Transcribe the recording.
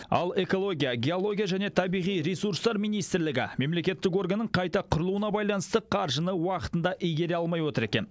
ал экология геология және табиғи ресурстар министрлігі мемлекеттік органның қайта құрылуына байланысты қаржыны уақытында игере алмай отыр екен